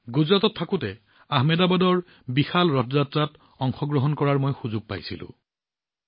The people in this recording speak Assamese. গুজৰাটত থাকোঁতে আহমেদাবাদৰ বিশাল ৰথ যাত্ৰাত অংশগ্ৰহণ কৰাৰ সুযোগ পাইছিলোঁ